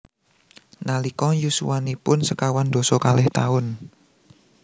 Nalika yuswanipun sekawan dasa kalih taun